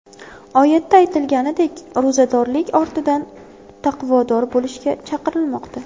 Oyatda aytilganidek ro‘zadorlik ortidan taqvodor bo‘lishga chaqirilmoqda.